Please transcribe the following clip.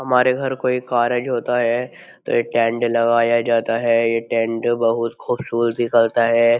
हमारे घर कोई कारज होता है तो यह टेंड लगाया जाता है यह टेंड बहुत खूबसूरती करता है।